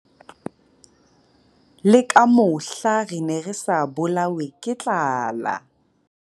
Le ka mohla re ne re sa bolawe ke tlala.